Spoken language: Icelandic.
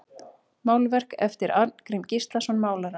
Málverk eftir Arngrím Gíslason málara